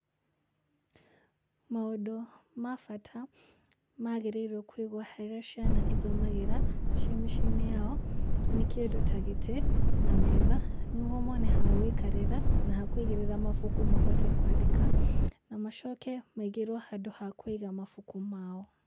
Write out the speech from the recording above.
Maũndũ ma bata magĩrĩirwo kũigwo harĩa ciana ithomagĩra ciĩ mĩciĩ-inĩ yao, nĩ kĩndũ ta gĩtĩ na metha nĩguo mone ha gũikarĩra na ha kũigĩrĩra mabuku mahote kwandĩka, na macoke maigĩrwo handũ ha kũiga mabuku mao.